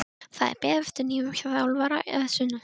Það er beðið eftir nýjum þjálfara að sunnan.